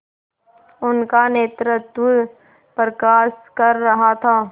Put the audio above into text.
उनका नेतृत्व प्रकाश कर रहा था